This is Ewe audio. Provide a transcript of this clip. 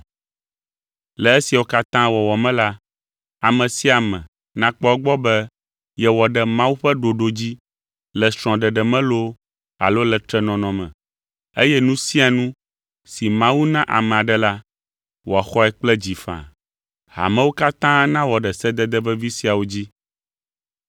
Le esiawo katã wɔwɔ me la, ame sia ame nakpɔ egbɔ be yewɔ ɖe Mawu ƒe ɖoɖo dzi le srɔ̃ɖeɖe me loo alo le trenɔnɔ me, eye nu sia nu si Mawu na ame aɖe la, wòaxɔe kple dzi faa. Hamewo katã nawɔ ɖe sedede vevi siawo dzi.